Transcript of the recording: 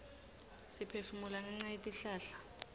siphefumula ngenca yetihlahla